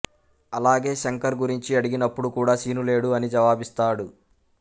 అలాగే శంకర్ గురించి అడిగినప్పుడు కూడా శీను లేడు అని జవాబిస్తాడు